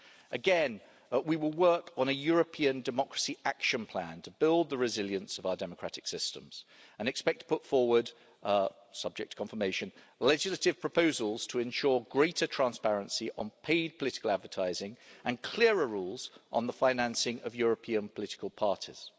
Again, we will work on a European democracy action plan to build the resilience of our democratic systems, and we expect to put forward subject to confirmation legislative proposals to ensure greater transparency on paid political advertising and clearer rules on the financing of European political parties.